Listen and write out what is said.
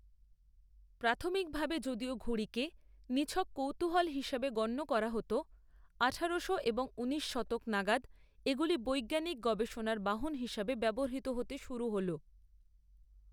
প্রাথমিকভাবে যদিও ঘুড়িকে নিছক কৌতূহল হিসাবে গণ্য করা হত, আঠারোশো এবং ঊনিশ শতক নাগাদ এগুলি বৈজ্ঞানিক গবেষণার বাহন হিসাবে ব্যবহৃত হতে শুরু হল।